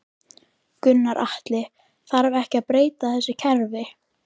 Gunnar Atli: Þarf þá ekki að breyta þessu kerfi?